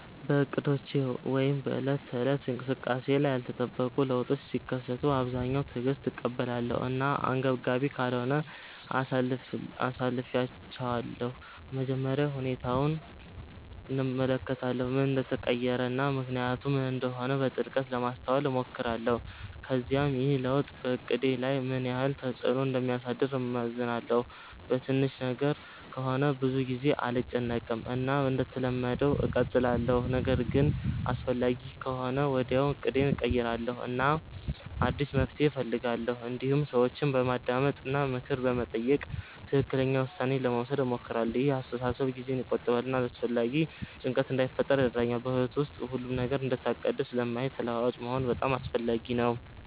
በእቅዶቼ ወይም በዕለት ተዕለት እንቅስቃሴዬ ላይ ያልተጠበቁ ለውጦች ሲከሰቱ በአብዛኛው በትዕግስት እቀበላለሁ እና አንገብጋቢ ካልሆነ አሳልፊቻለሁ መጀመሪያ ሁኔታውን እመለከታለሁ ምን እንደተቀየረ እና ምክንያቱ ምን እንደሆነ በጥልቀት ለማስተዋል እሞክራለሁ ከዚያም ይህ ለውጥ በእቅዴ ላይ ምን ያህል ተፅዕኖ እንደሚያሳድር እመዝናለሁ በትንሽ ነገር ከሆነ ብዙ ጊዜ አልጨነቅም እና እንደተለመደው እቀጥላለሁ ነገር ግን አስፈላጊ ከሆነ ወዲያውኑ እቅዴን እቀይራለሁ እና አዲስ መፍትሔ እፈልጋለሁ እንዲሁም ሰዎችን በማዳመጥ እና ምክር በመጠየቅ ትክክለኛ ውሳኔ ለመውሰድ እሞክራለሁ ይህ አስተሳሰብ ጊዜን ይቆጥባል እና አላስፈላጊ ጭንቀት እንዳይፈጥር ይረዳኛል በሕይወት ውስጥ ሁሉም ነገር እንደታቀደ ስለማይሄድ ተለዋዋጭ መሆን በጣም አስፈላጊ ነው